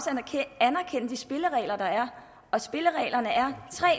anerkende de spilleregler der er og spillereglerne er